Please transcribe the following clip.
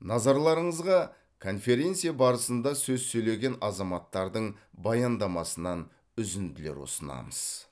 назарларыңызға конференция барысында сөз сөйлеген азаматтардың баяндамасынан үзінділер ұсынамыз